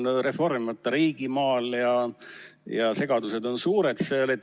See on reformimata riigimaal ja segadused on seal suured.